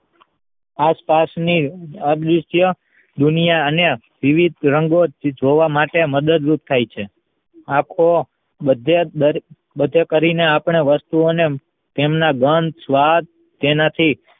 આસપાસની અદ્વિતીય દુનિયા અને વિવિધ રંગો જોવા માટે મદદરૂપ થાય છે આતો બધે જ બધે કરી ને આપણે વસ્તુ ઓ ને તેમના ગંધ સ્વાદ તેના થી